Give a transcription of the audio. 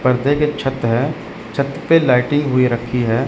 पर्दे के छत है छत पे लाइटिंग हुई रखी है।